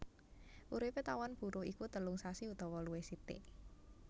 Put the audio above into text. Uripé tawon buruh iku telung sasi utawa luwih sithik